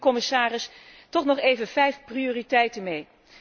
Ik geef u, commissaris, toch nog even vijf prioriteiten mee.